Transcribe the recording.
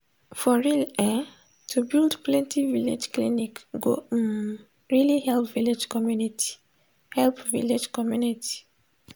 for real[um]to build plenti village clinic go um really help village community. help village community.